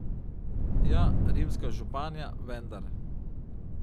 Ja, rimska županja, vendar ...